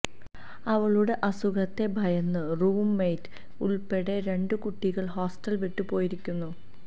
അവളുടെ അസുഖത്തെ ഭയന്ന് റൂം മേയ്റ്റ് ഉള്പ്പെടെ രണ്ടുകുട്ടികള് ഹോസ്റ്റല് വിട്ടു പോയിരിയ്ക്കുന്നു